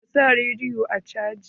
Ka sa rediyon a caji.